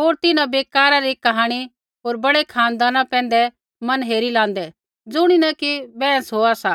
होर तिन्हां बेकारा री कहाणी होर बड़ै खानदाना पैंधै मन हेरी लाँदै ज़ुणिन कि बैंहस होआ सा